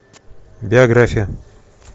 биография